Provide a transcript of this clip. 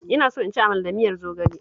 Ina so in ci amala da miyar zogale